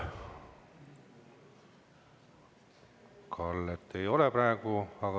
Kalle ei ole praegu siin.